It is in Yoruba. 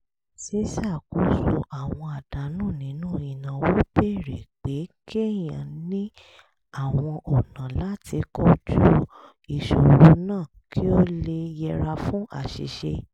ṣíṣakoso àwọn àdánù nínú ìnáwó béèrè pé kéèyàn ní àwọn ọ̀nà láti kojú ìṣòro náà kí ó yẹra fún àṣìṣe